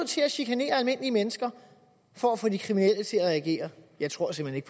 til at chikanere almindelige mennesker for at få de kriminelle til at reagere jeg tror simpelt